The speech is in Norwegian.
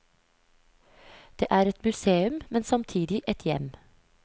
Det er et museum, men samtidig et hjem.